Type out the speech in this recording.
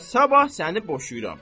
Elə sabah səni boşuyuram.